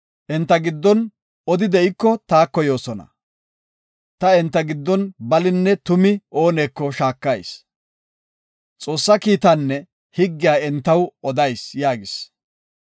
Enta giddon odi de7iko taako yoosona. Ta enta giddon balinne tumi ooneko shaakayis; Xoossa kiitaanne higgiya entaw odayis” yaagis.